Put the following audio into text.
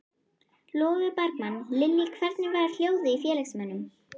Logi Bergmann: Lillý, hvernig var hljóðið í félagsmönnum?